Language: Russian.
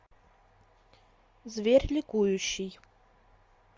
зверь ликующий